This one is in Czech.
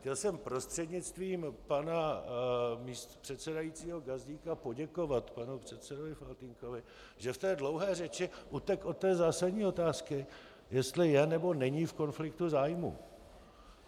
Chtěl jsem prostřednictvím pana předsedajícího Gazdíka poděkovat panu předsedovi Faltýnkovi, že v té dlouhé řeči utekl od té zásadní otázky, jestli je, nebo není v konfliktu zájmu.